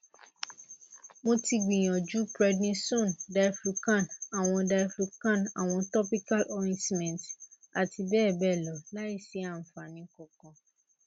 mo ti gbìyànjú prednisone diflucan àwọn diflucan àwọn topical ointment àti bẹ́ẹ̀ bẹ́ẹ̀ lọ láìsí àfààní kankan